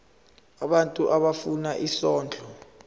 abantu abafuna isondlo